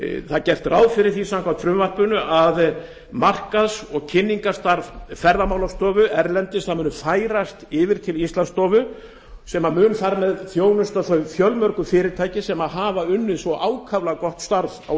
það er gert ráð fyrir því samkvæmt frumvarpinu að markaðs og kynningarstarf ferðamálastofu erlendis muni færast yfir til íslandsstofu sem mun þar af leiðandi þjónusta þau fjölmörgu fyrirtæki sem hafa unnið svona ákaflega gott starf á